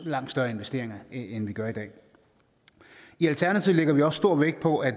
langt større investeringer end vi gør i dag i alternativet lægger vi også stor vægt på at